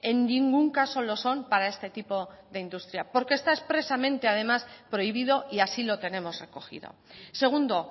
en ningún caso lo son para este tipo de industria porque está expresamente además prohibido y así lo tenemos recogido segundo